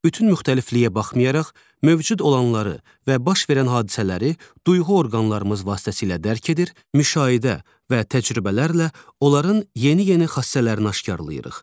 Bütün müxtəlifliyə baxmayaraq, mövcud olanları və baş verən hadisələri duyğu orqanlarımız vasitəsilə dərk edir, müşahidə və təcrübələrlə onların yeni-yeni xassələrini aşkar edirik.